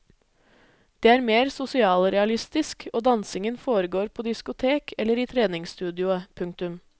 Det er mer sosialrealistisk og dansingen foregår på diskotek eller i treningsstudioet. punktum